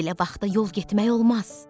Belə vaxtda yol getmək olmaz.